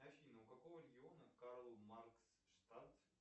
афина у какого региона карл маркс штат